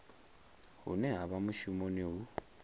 hune ha vha mushumoni hu